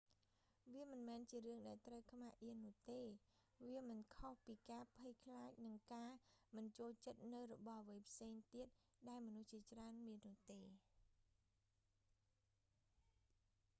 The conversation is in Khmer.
វាមិនមែនជារឿងដែលត្រូវខ្មាស់អៀននោះទេ៖ វាមិនខុសពីការភ័យខ្លាចនិងការមិនចូលចិត្តនូវរបស់អ្វីផ្សេងទៀតដែលមនុស្សជាច្រើនមាននោះទេ